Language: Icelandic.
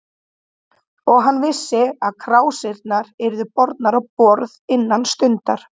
Og hann vissi, að krásirnar yrðu bornar á borð innan stundar.